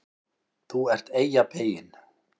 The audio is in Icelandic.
ÞÚ ERT EYJAPEYINN